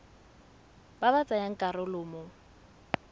ba ba tsayang karolo mo